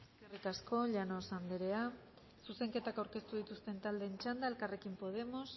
eskerrik asko llanos anderea zuzenketa aurkeztu dituzten taldeen txanda elkarrekin podemos